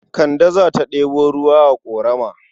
Kande za ta ɗebo ruwa a ƙorama.